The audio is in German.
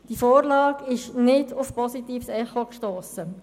Die Vorlage ist nicht auf positives Echo gestossen.